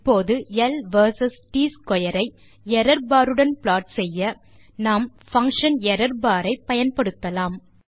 இப்போது L V S T square ஐ error bar உடன் ப்ளாட் செய்ய நாம் பங்ஷன் errorbar ஐ பயன்படுத்தலாம்